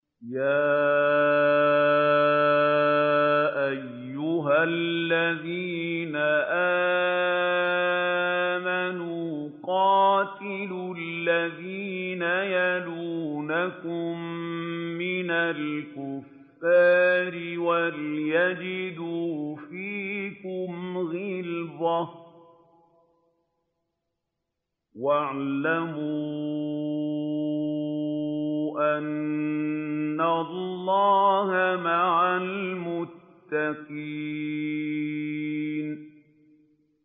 يَا أَيُّهَا الَّذِينَ آمَنُوا قَاتِلُوا الَّذِينَ يَلُونَكُم مِّنَ الْكُفَّارِ وَلْيَجِدُوا فِيكُمْ غِلْظَةً ۚ وَاعْلَمُوا أَنَّ اللَّهَ مَعَ الْمُتَّقِينَ